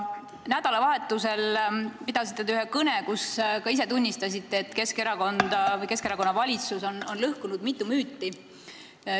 Nädalavahetusel pidasite te ühe kõne, kus ka ise tunnistasite, et Keskerakond või Keskerakonna valitsus on lõhkunud mitu müüti.